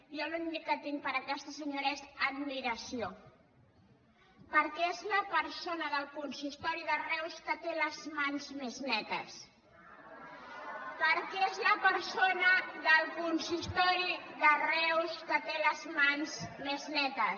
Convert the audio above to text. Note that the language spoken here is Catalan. jo l’únic que tinc per aquesta senyora és admiració perquè és la persona del consistori de reus que té les mans més netes perquè és la persona del consistori de reus que té les mans més netes